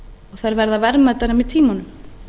þær verða verðmætari með tímanum